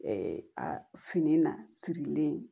a fini na sirilen